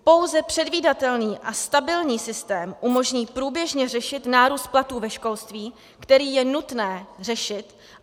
Pouze předvídatelný a stabilní systém umožní průběžně řešit nárůst platů ve školství, který je nutné řešit.